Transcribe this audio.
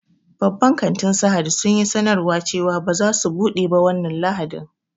Babban kantin Sahad sun yi sanarwa cewa ba za su buɗe ba wannan lahadin